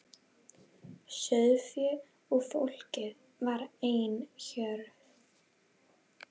Sauðféð og fólkið var ein hjörð.